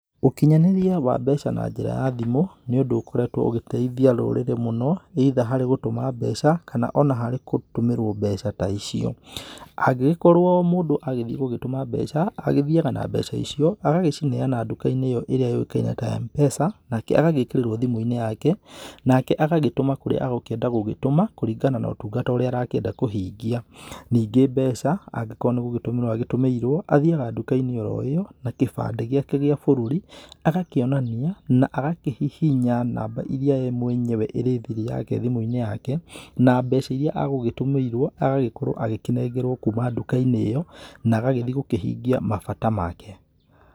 Ũkinyanĩria wa mbeca na njĩra ya thimũ, nĩ ũndũ ũkoretwo ũgĩteithia rũrĩrĩ mũno, either harĩ gũtũma mbeca, kana ona harĩ kũtũmĩrwo mbeca ta icio, angĩgĩkorwo mũndũ agĩthiĩ gũgĩtũma mbeca, agĩthiaga na mbeca icio agagĩcineana nduka-inĩ ĩyo ĩrĩa yũĩkaine ta ya M-pesa, nake agagĩkĩrĩrwo thimũ-inĩ yake, nake agagĩtũma kũrĩa agũkĩenda gũgĩtũma, kũrĩngana na ũtungata ũrĩa arakĩenda kũhingia. Ningĩ mbeca angĩkorwo nĩ gũgĩtũmĩrwo agĩtũmĩirwo, athiaga nduka-inĩ oro ĩyo na kĩbandĩ gĩake gĩa bũrũri, agakĩonania, na agakĩhihinya namba irĩa ye mwenyewe ĩrĩ thiri yake thimũ-inĩ yake, na mbeca irĩa agũgĩtũmĩirwo agagĩkorwo agĩkĩnengerwo kuma nduka-inĩ ĩyo na agagĩthiĩ gũkĩhingia mabata make.